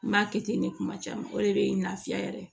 N b'a kɛ ten ne kuma caman o de bɛ lafiya yɛrɛ